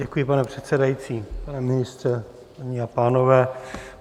Děkuji, pane předsedající, pane ministře, paní a pánové.